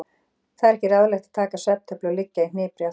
Það er ekki ráðlegt að taka svefntöflu og liggja í hnipri allt flugið.